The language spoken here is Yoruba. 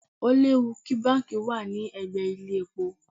Ó léwu kí báǹkì wà lẹ́gbẹ̀ẹ́ ilé-epo.